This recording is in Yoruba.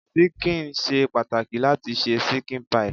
Ṣíkìn ṣe pàtàkì láti se ṣíkìn pie.